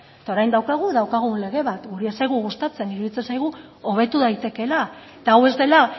eta orain daukagu daukagun lege bat guri ez zaigu gustatzen iruditzen zaigu hobetu daitekeela eta hau ez dela